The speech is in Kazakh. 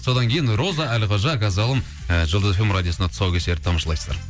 содан кейін роза әлқожа қазалым жұлдыз эф эм радиосында тұсаукесерді тамашалайсыздар